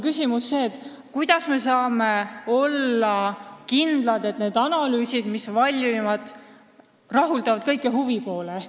Aga kuidas me saame olla kindlad, et need analüüsid, mis tehakse, rahuldavad kõiki huvipooli?